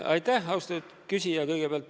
Aitäh, austatud küsija!